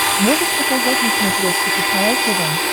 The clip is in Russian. можешь показать на смотрешке кхл тв